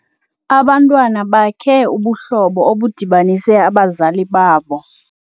Abantwana bakhe ubuhlobo obudibanise abazali babo.